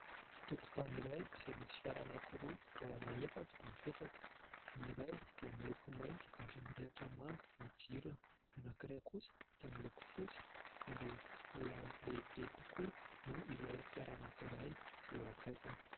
Tokotany iray izay misy fiara anankiroa kodiarana efatra mipetraka. Ny iray dia miloko mainty ary mirehitra manga ny jirony. Ny anankiray kosa dia miloko fotsy ary mbola lehibe kokoa noho ilay fiara anankiray izay eo akaikiny.